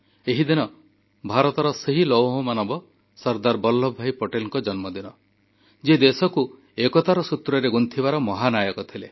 ଏହିଦିନ ଭାରତର ସେହି ଲୌହମାନବ ସର୍ଦ୍ଦାର ବଲ୍ଲଭଭାଇ ପଟେଲଙ୍କ ଜନ୍ମଦିନ ଯିଏ ଦେଶକୁ ଏକତାର ସୂତ୍ରରେ ଗୁନ୍ଥିବାର ମହାନାୟକ ଥିଲେ